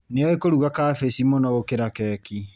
Nĩoĩ kũruga cabaci mũno gũkĩra keki.